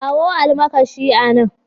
Kawo almakashi a nan.